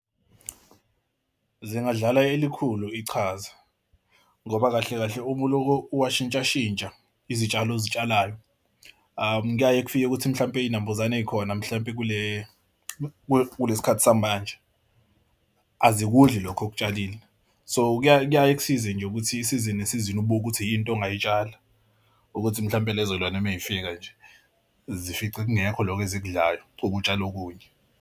Zingadlala elikhulu ichaza ngoba kahle kahle uma uloko uwashintshashintsha izitshalo ozitshalwayo kuyaye kufike ukuthi mhlawumpe iy'nambuzane eyikhona mhlampe kule kulesi khathi samanje azikudla lokhu okutshalile so kuyaye kuyaye kusize nje ukuthi isizini isizini ubuke ukuthi yini into ongayitshala ukuthi mhlawumpe lezo lwane uma zifika nje zifike kungekho lokho esikudlayo ube utshale okunye.